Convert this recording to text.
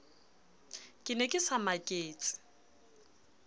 ke ne ke sa maketse